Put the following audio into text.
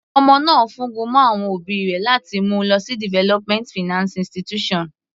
Ọmọ náà fún gun mọ́ àwọn òbí rẹ̀ láti mú u lọ sí development finance institution.